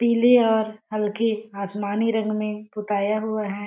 पीली और हल्की आसमानी रंग में पुताया हुआ है।